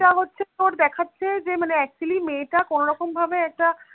টা হচ্ছে তোর দেখাচ্ছে যে মানে actually মেয়েটা কোনোরকম ভাবে একটা